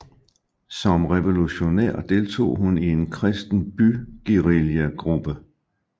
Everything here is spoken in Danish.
Som revolutionær deltog hun i en kristen byguerillagruppe